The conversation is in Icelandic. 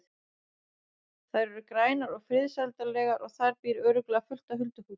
Þær eru grænar og friðsældarlegar og þar býr örugglega fullt af huldufólki.